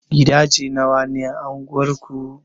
Gidaje nawa ne a anguwar ku?